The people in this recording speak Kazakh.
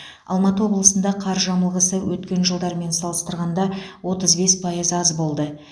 алматы облысында қар жамылғысы өткен жылдармен салыстырғанда отыз бес пайыз аз болды